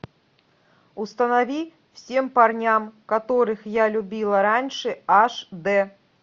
установи всем парням которых я любила раньше аш дэ